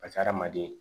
Ka hadamaden